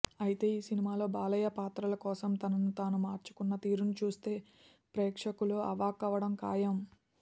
అయితే ఈ సినిమాలో బాలయ్య పాత్రల కోసం తనను తాను మార్చుకున్న తీరును చూస్తే ప్రేక్షకులు అవాక్కవ్వడం ఖాయం